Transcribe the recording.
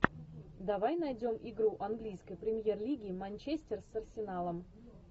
давай найдем игру английской премьер лиги манчестер с арсеналом